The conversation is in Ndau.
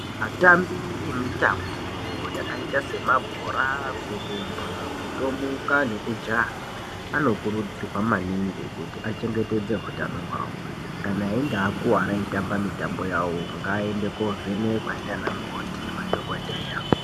Atambi emitambo yakaita semabhora kurumba kutomuka nekujaha anokurudzirwa maningi kuti achengetedze hutano hwavo kana einge akuwara eitamba mutambo wavo ngaaende kovhenekwa ndianamukoti nemadhokodheya.